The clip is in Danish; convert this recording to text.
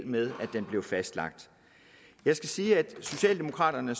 med at den blev fastlagt jeg skal sige at socialdemokraterne